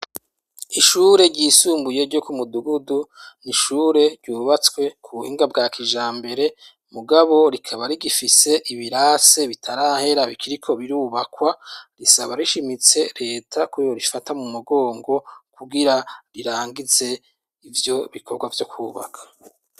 Ishure ryisumbuye ryo ku Mudugudu ni ishure ryubatswe ku buhinga bwa kijambere mugabo rikaba rigifise ibirasi bitarahera bikiriko birubakwa, risaba rishimitse leta ko yorifata mu mugongo kugira rirangize ivyo bikorwa vyo kubaka.